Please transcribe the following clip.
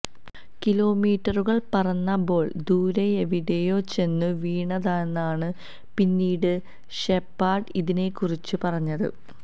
കിലോമീറ്ററുകൾ പറന്ന ബോൾ ദൂരെയെവിടെയോ ചെന്നു വീണെന്നാണ് പിന്നീട് ഷെപാഡ് ഇതിനെക്കുറിച്ച് പറഞ്ഞത്